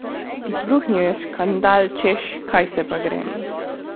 Izbruhnil je škandal, češ kaj se pa grem.